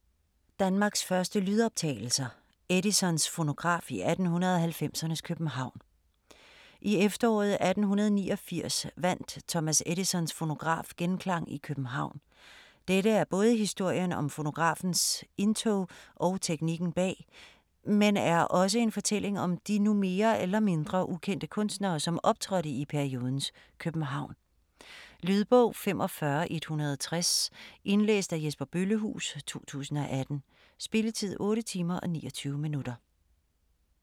Danmarks første lydoptagelser: Edisons fonograf i 1890'ernes København I efteråret 1889 vandt Thomas Edisons fonograf genklang i København. Dette er både historien om fonografens indtog og teknikken bag, men er også en fortælling om de nu mere eller mindre ukendte kunstnere som optrådte i periodens København. Lydbog 45160 Indlæst af Jesper Bøllehuus, 2018. Spilletid: 8 timer, 29 minutter.